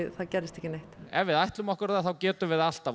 það gerðist ekki neitt ef við ætlum okkur það þá getum við það alltaf